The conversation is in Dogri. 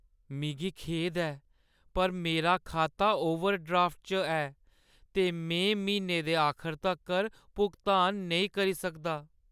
मिगी खेद ऐ, पर मेरा खाता ओवरड्राफ्ट च ऐ ते में म्हीने दे आखर तक्कर भुगतान नेईं करी सकदा।